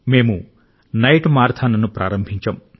మేము నైట్ మారథాన్ను ప్రారంభించాం